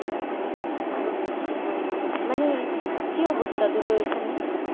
আরো ও বেশি পরিমানে শীত,